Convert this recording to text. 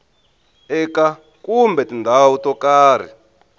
eka kumbe tindhawu to karhi